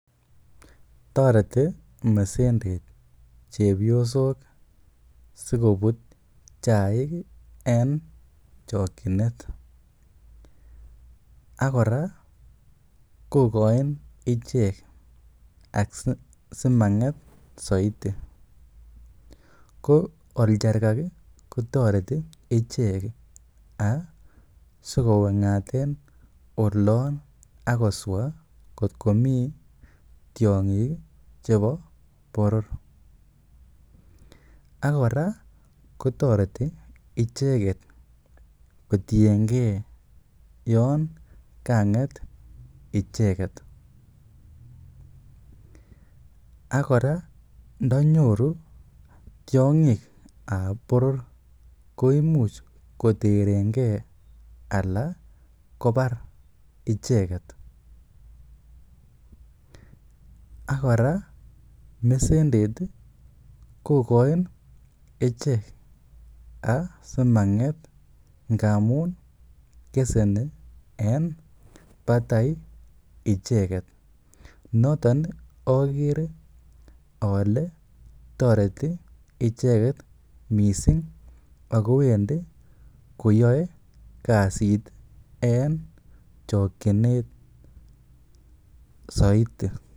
Toreti mesendet chepyosol sikobut chaik en chokinet. Ak kora kogoin ichek simang'et soiti. Ko oljarkaka kotoreti ichek sikoweng'aten olon ak koswa kotko mi tiong'ik chebo boror. Ak kora kotoreti icheket kotienge yon kang'et icheget Ak kora ndo nyoru tiong'ik ab boror koimuch koternge anan kobar icheget. Ak kora mesendet kogoin ichek asimang'et ngamun keseni en batai icheget. Noton ogere ole toreti icheget miisng ago wendi koyoe kasit en chokinet soiti.